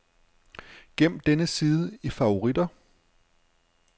Gem denne side i favoritter.